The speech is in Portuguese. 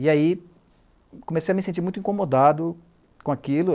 E aí comecei a me sentir muito incomodado com aquilo.